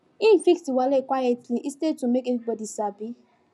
him fix the wahala quietly instead to make everybody sabi